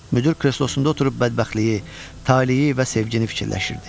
Müdir kreslosunda oturub bədbəxtliyi, taleyi və sevgini fikirləşirdi.